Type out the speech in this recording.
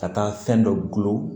Ka taa fɛn dɔ gulon